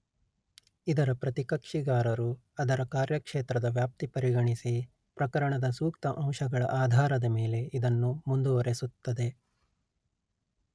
ಇದರ ಪ್ರತಿಕಕ್ಷಿಗಾರರು ಅದರ ಕಾರ್ಯಕ್ಷೇತ್ರದ ವ್ಯಾಪ್ತಿ ಪರಿಗಣಿಸಿ ಪ್ರಕರಣದ ಸೂಕ್ತ ಅಂಶಗಳ ಆಧಾರದ ಮೇಲೆ ಇದನ್ನು ಮುಂದುವರೆಸುತ್ತದೆ